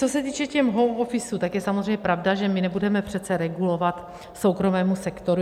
Co se týče těch home office, tak je samozřejmě pravda, že my nebudeme přece regulovat soukromému sektoru.